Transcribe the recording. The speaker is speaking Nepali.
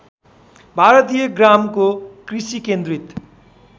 भारतीय ग्रामको कृषिकेन्द्रित